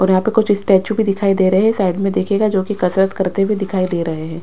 और यहां पे कुछ स्टैचू भी दिखाई दे रहे हैं साइड में देखिएगा जोकि कसरत करते हुए दिखाई दे रहे हैं।